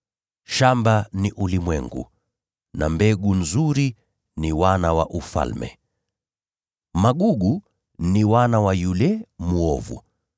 Shamba ni ulimwengu na mbegu nzuri ni wana wa Ufalme. Magugu ni wana wa yule mwovu.